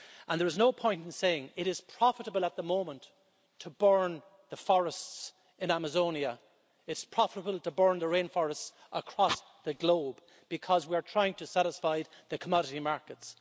And there is no point in saying it it is profitable at the moment to burn the forests in Amazonia, it's profitable to burn the rainforests across the globe, because we are trying to satisfy the commodity markets.